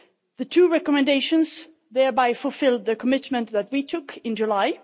The two recommendations thereby fulfilled the commitment that we took in July.